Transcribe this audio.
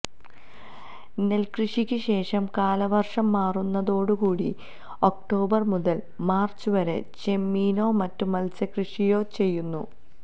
നെല്ക്കൃഷിക്ക് ശേഷം കാലവര്ഷം മാറുന്നതോടുകൂടി ഒക്ടോബര് മുതല് മാര്ച്ച് വരെ ചെമ്മീനോ മറ്റ് മത്സ്യക്കൃഷിയോ ചെയ്യുന്നു